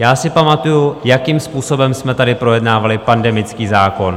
Já si pamatuji, jakým způsobem jsme tady projednávali pandemický zákon.